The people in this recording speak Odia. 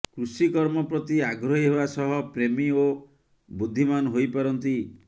କୃଷିକର୍ମ ପ୍ରତି ଆଗ୍ରହୀ ହେବା ସହ ପ୍ରେମୀ ଓ ବୁଦ୍ଧିମାନ୍ ହୋଇପାରନ୍ତି